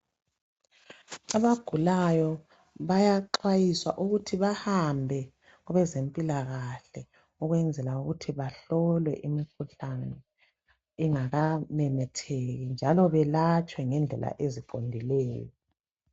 Agulayo bayaxwayiswa ukuthi bahambe kwabezempilakahle ukwenzela ukuthi bahlolwe imikhuhlane ingakamemetheki njalo balatshwe ngendlela eziqondileyo.